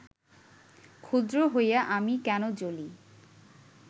ক্ষুদ্র হইয়া আমি কেন জ্বলি